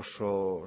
oso